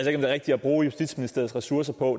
er rigtigt at bruge justitsministeriets ressourcer på